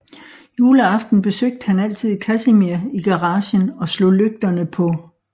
Juleaften besøgte han altid Casimir i garagen og slog lygterne på